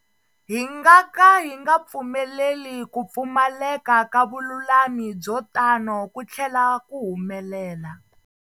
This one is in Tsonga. Hi nga ka hi nga pfumeleli ku pfumaleka ka vululami byo tano ku tlhela ku humelela.